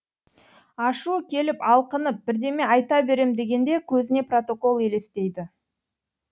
ашуы келіп алқынып бірдеме айта берем дегенде көзіне протокол елестейді